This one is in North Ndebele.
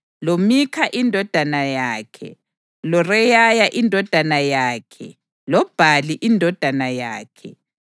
loMikha indodana yakhe, loReyaya indodana yakhe, loBhali indodana yakhe,